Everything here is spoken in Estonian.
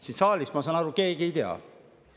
Siin saalis, ma saan aru, keegi ei tea.